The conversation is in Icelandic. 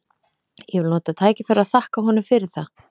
Ég vil nota tækifærið og þakka honum fyrir það.